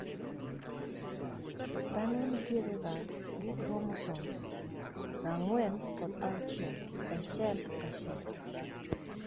Dhano nitierega gi chromosomes prang`wen kod auchiel e cell kacell.